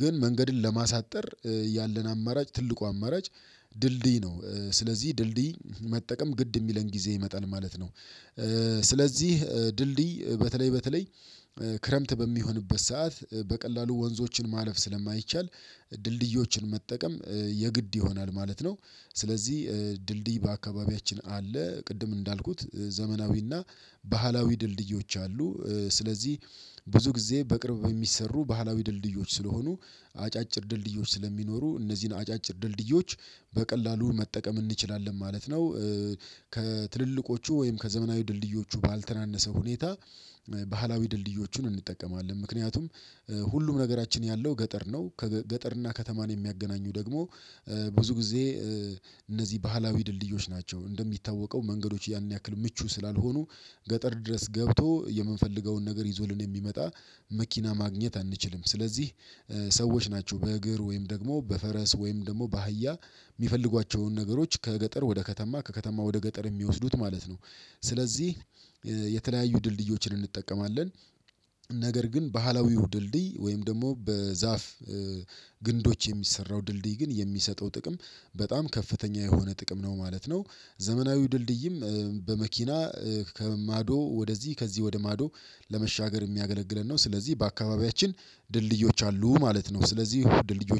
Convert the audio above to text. ግን መንገድን ለማሳጠር ያለን አማራጭ ትልቁ አማራጭ ድልድይ ነው ስለዚህ ድልድይ መጠቀም ግድ የሚለን ጊዜ ይመጣል ማለት ነው። ስለዚህ ድልድይ በተለይ በተለይ ክረምት በሚሆንበት ሰዓት በቀላሉ ወንዞችን ማለፍ ስለማይቻል ድልድዮችን መጠቀም የግድ ይሆናል ማለት ነው። ስለዚህ ድልድይ በአካባቢያችን አለ ቅድም እንዳልኩት ዘመናዊና ባህላዊ ድልድዮች አሉ። ስለዚህ ብዙ ጊዜ በቅርብ የሚሰሩ ባህላዊ ድልድዮች ስለሆኑ አጫጭር ድልድዮች ስለሚኖሩ እነዚህን አጫጭር ድልድዮች በቀላሉ መጠቀም እንችላለን ማለት ነው። ከትልልቆቹ ወይም ከዘመናዊ ድልድዮቹ ባልተናነሰ ሁኔታ ባህላዊ ድልድዮቹን እንጠቀማለን ምክንያቱም ሁሉም ነገራችን ያለው ገጠር ነው ከ ገጠርና ከተማን የሚያገናኙ ደግሞ ብዙ ጊዜ እነዚህ ባህላዊ ድልድዮች ናቸው። እንደሚታወቀው መንገዶች ያን ያክል ምቹ ስላልሆኑ ገጠር ድረስ ገብቶ የምንፈልገውን ነገር ይዞልን የሚመጣ መኪና ማግኘት አንችልም። ስለዚህ ሰዎች ናቸው በእግር ወይም ደግሞ በፈረስ ወይም ደግሞ በአህያ የሚፈልጓቸውን ነገሮች ከገጠር ወደ ከተማ ከከተማ ወደ ገጠር የሚወስዱት ማለት ነው። ስለዚህ የተለያዩ ድልድዮችን እንጠቀማለን። ነገር ግን ባህላዊው ድልድይ ወይም ደግሞ በዛፍ ግንዶች የሚሰራው ድልድይ ግን የሚሰጠው ጥቅም በጣም ከፍተኛ የሆነ ጥቅም ነው ማለት ነው። ዘመናዊ ድልድይም በመኪና ከማዶ ወደዚህ ከዚህ ወደ ማዶ ለመሻገር የሚያገለግለን ነው ስለዚህ በአካባቢያችን ድልድዮች አሉ ማለት ነው። ስለዚህ ድልድዮች